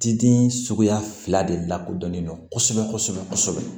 Diden suguya fila de lakodɔnnen don kosɛbɛ kosɛbɛ